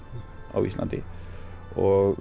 á Íslandi og